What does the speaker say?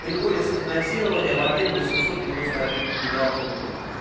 приходится финансирование в объёме восемьсот девяносто один миллиард рублей